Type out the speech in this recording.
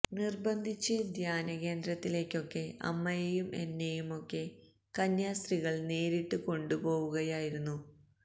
നിർബന്ധിച്ച് ധ്യാന കേന്ദ്രത്തിലേക്കൊക്കെ അമ്മയേയും എന്നെയും ഒക്കെ കന്യാസ്ത്രീകൾ നേരിട്ട് കൊണ്ട് പോവുകയായിരുന്നു